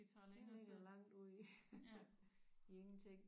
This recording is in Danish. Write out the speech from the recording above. Det ligger langt ude i ingenting